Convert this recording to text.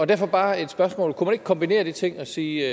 derfor bare et spørgsmål kunne man ikke kombinere de ting og sige